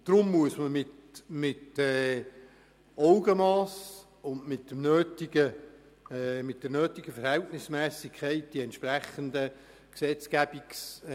Deswegen muss man die entsprechenden Gesetzgebungsartikel mit Augenmass und der nötigen Verhältnismässigkeit beraten und diskutieren.